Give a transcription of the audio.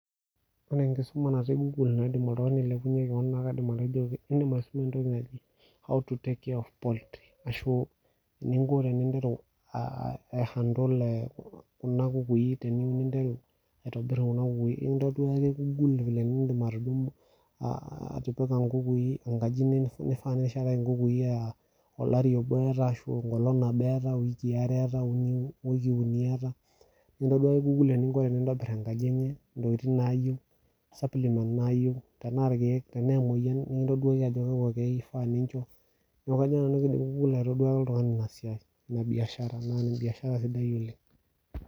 Ore enkisuma natii google naa kaidim atejo edim aisuma how to take care of poultry eninko teni handle Kuna kukuni teninteru aitobir Kuna kukuni enintoduaki google vile nidim atipika nkukui enkaji aa olari obo etaa aa wiki are etaa ekintoduaki google eninko tenintobir enkaji enye entokitin nayieu supplimen nayieu tenaa emoyian tenaa irkeek ekintoduaki google Ajo kakua keek ifaa ninjo amu kajo Nanu ekidim google aitodua oltung'ani ena biashara sidai oleng